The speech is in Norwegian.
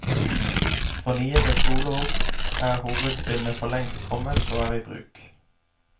For niende skoleår er hovedbindet forlengst kommet og er i bruk.